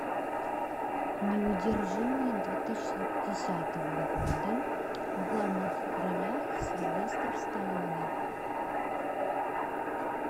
неудержимые две тысячи десятого года в главных ролях сильвестр сталлоне